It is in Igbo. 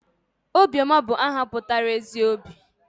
Obiọma bụ aha pụtara 'ezi obi'